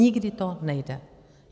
Nikdy to nejde.